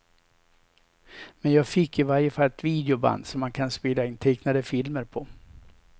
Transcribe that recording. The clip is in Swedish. Men jag fick i varje fall ett videoband som man kan spela in tecknade filmer på.